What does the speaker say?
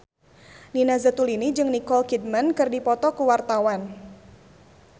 Nina Zatulini jeung Nicole Kidman keur dipoto ku wartawan